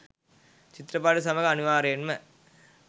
චිත්‍රපටිය සමඟ අනිවාර්යයෙන්ම